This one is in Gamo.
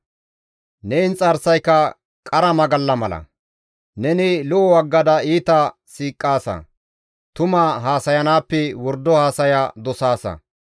Neni lo7o aggada iita siiqaasa; tuma haasayanaappe wordo haasaya dosaasa.